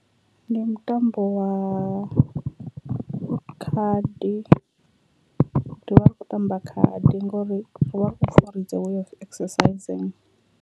Ndi mutambo wa khadi ndi wa u tamba khadi ngori ri vha ri khou pfha uri its a way of exercising.